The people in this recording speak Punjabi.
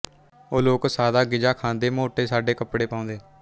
ਉਹ ਲੋਕ ਸਾਦਾ ਗ਼ਿਜ਼ਾ ਖਾਂਦੇ ਮੋਟੇ ਸਾਡੇ ਕੱਪੜੇ ਪਾਓਂਦੇ